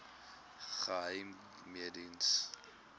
geheimediens